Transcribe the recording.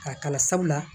K'a kala sabula